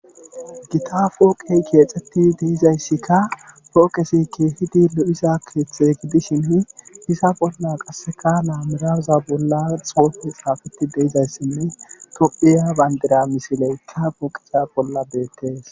Gita pooqey keexettidi de7izayssika pooqezi keehidi lo7iza keethe gidishini iza bolla iza bolla qasseka laameraza bolla xuufey xaafettidi de7izayssinne tophiya banddira misileykka pooqeza bolla beetees.